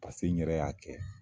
Paseke n yɛrɛ y'a kɛ.